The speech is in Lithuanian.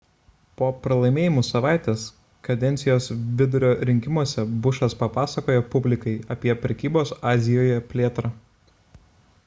po pralaimėjimų savaitės kadencijos vidurio rinkimuose bušas papasakojo publikai apie prekybos azijoje plėtrą